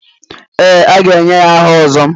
Ee, a ga-enye ya aha Ozo.